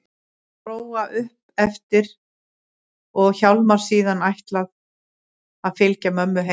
Bróa upp eftir og Hjálmar síðan ætlað að fylgja mömmu heim.